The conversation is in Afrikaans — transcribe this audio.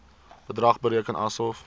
bedrag bereken asof